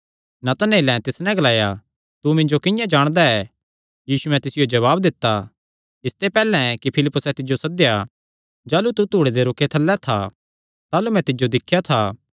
नतनएलें तिस नैं ग्लाया तू मिन्जो किंआं जाणदा ऐ यीशुयैं तिसियो जवाब दित्ता इसते पैहल्ले कि फिलिप्पुसैं तिज्जो सद्देया जाह़लू तू धूड़े दे रूखे थल्लैं था ताह़लू मैं तिज्जो दिख्या था